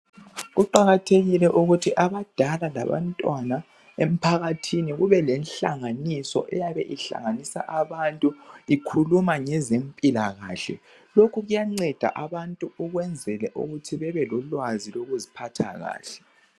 Kuqakathekile ukuthi abadala labantwana emphakathini kubelenhlanganiso eyabe ihlanganisa abantu ikhuluma ngezempilakahle. Lokhu kuyanceda abantu ukwenzela ukuthi bebe lolwazi lokuziphatha kuhle